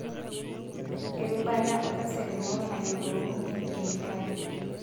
Erubata osesen lino nayiolounye kemikali.